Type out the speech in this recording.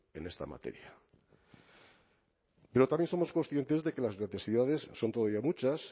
en esta materia pero también somos conscientes de que las necesidades son todavía muchas